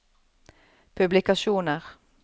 publikasjoner